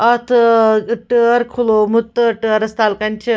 .اَتھ ٲٹٲرکُھلوومُت تہٕ ٹٲرس تلہٕ کنہِ چھ